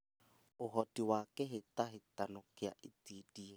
ũhoti wa kĩhĩtahĩtano kĩa itindiĩ